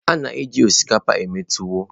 A na-eji osikapa eme tuwọ.